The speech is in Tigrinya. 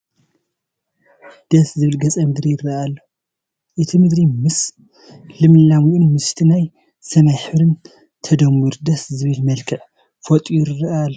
ደስ ዝብል ገፀ ምድሪ ይርአ ኣሎ፡፡ እቲ ምድሪ ምስ ልምላሜኡን ምስቲ ናይ ሰማይ ሕብርን ተደሚሩ ደስ ዝብል መልክዕ ፈጢሩ ይርአ ኣሎ፡፡